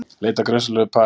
Leita að grunsamlegu pari